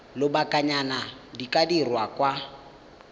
lobakanyana di ka dirwa kwa